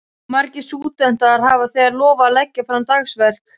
Margir stúdentar hafa þegar lofað að leggja fram dagsverk.